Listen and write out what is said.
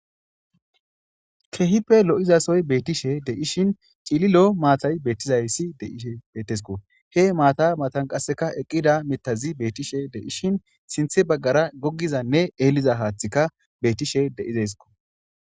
kehipe lo7izasoy beettishe de ishin cililo maatay bettizayssi deishe bettesko he maata matan qasseka eqqida mitazi beettishe de ishin sinthe baggara goggizanne eeliza haathika bettishe deizesko